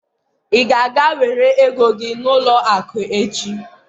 ị ga-aga were ego gị n'ụlọ akụ echi?